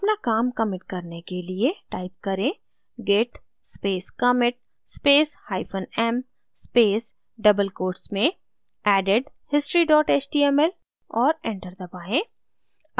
अपना काम commit करने के लिए type करें: git space commit space hyphen m space double quotes में added history html और enter दबाएँ